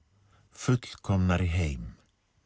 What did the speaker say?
fullkomnari heim